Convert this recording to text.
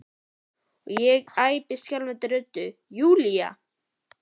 og ég æpi skjálfandi röddu: Júlía!